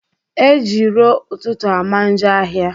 Ejii ro ututu amanjo ahia